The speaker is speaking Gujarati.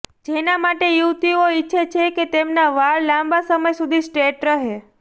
જેના માટે યુવતીઓ ઇચ્છે છે કે તેમના વાળ લાંબા સમય સુધી સ્ટ્રેટ રહે